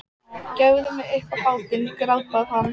Gefðu mig upp á bátinn, grátbað hann.